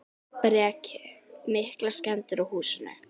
Breki: Miklar skemmdir á húsinu?